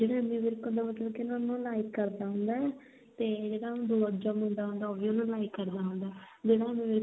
ਫੇਰ ਐਮੀ ਵਿਰਕ ਹੁੰਦਾ ਨਾ ਮਤਲਬ ਕੀ ਉਹਨੂੰ like ਕਰਦਾ ਹੁੰਦਾ ਤੇ ਜਿਹੜਾ ਦੂਜਾ ਮੁੰਡਾ ਉਹ ਵੀ ਉਹਨੂੰ like ਕਰਦਾ ਹੁੰਦਾ ਜਿਹੜਾ ਐਮੀ ਵਿਰਕ